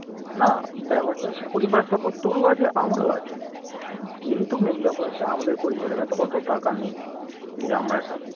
না ব্যাপারটা হচ্ছে পরিবারের support তোরও আছে আমারও আছে কিন্তু main ব্যাপার হচ্ছে আমাদের পরিবারের কাছে অত টাকা নেই যে আমরা একটা